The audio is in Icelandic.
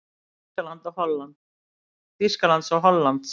Þýskalands og Hollands.